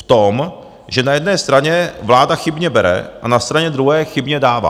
V tom, že na jedné straně vláda chybně bere a na straně druhé chybně dává.